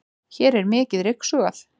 hér er mikið ryksugað